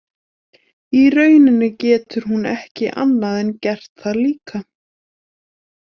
Í rauninni getur hún ekki annað en gert það líka.